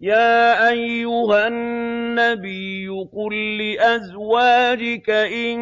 يَا أَيُّهَا النَّبِيُّ قُل لِّأَزْوَاجِكَ إِن